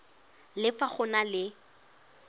le fa go na le